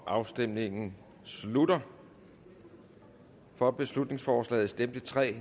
afstemningen slutter for beslutningsforslaget stemte tre